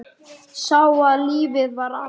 Sá að lífið var allt.